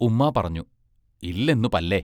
ഉമ്മാ പറഞ്ഞു: ഇല്ലെന്നു പല്ലേ!